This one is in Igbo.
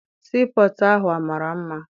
Sii pọtụ ahụ mara mma.